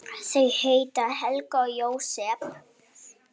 Þau heita Helga og Jósep.